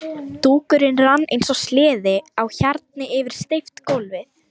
Dúkurinn rann eins og sleði á hjarni yfir steypt gólfið.